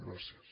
gràcies